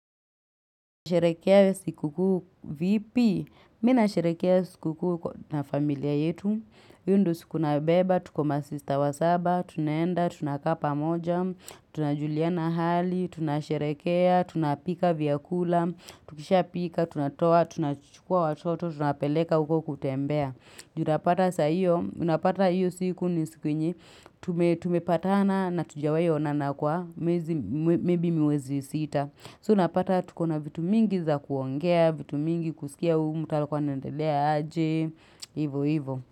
Mi nasherekea siku kuu vipi, mi nasherekea siku kuu na familia yetu, hiyo ndo siku tunayobeba, tuko masista wa saba, tunaenda, tu nakaa pamoja, tunajuliana hali, tunasherekea, tunapika vyakula, tukisha pika, tunatoa, tunachukua watoto, tunapeleka uko kutembea. Ju unapata sa hiyo, unapata hiyo siku ni siku yenye, tumepatana na hatujawahi onana kwa, miezi maybe mwezi sita. So unapata tuko na vitu mingi za kuongea, vitu mingi kusikia Huyu, mtu alikuwa anaendelea aje, hivo hivo.